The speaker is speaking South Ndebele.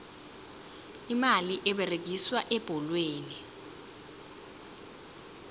imali eberegiswa ebholweni